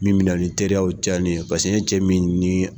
Min me na ni teriyaw cɛnni ye paseke ni cɛ min ni